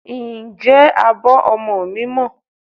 Ǹjẹ́ abọ́ ọmọ mi mọ́?